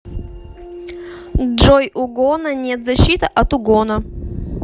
джой угона нет защита от угона